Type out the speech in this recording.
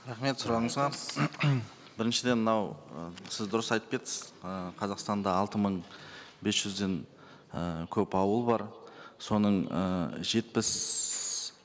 рахмет сұрағыңызға біріншіден мынау ы сіз дұрыс айтып кеттіңіз ы қазақстанда алты мың бес жүзден і көп ауыл бар соның ыыы жетпіс